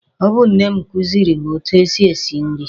Ọ bụ nne m kuziri m etu e si esi nri.